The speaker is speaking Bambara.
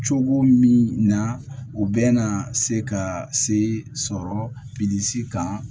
Cogo min na u bɛna se ka se sɔrɔ bilisi kan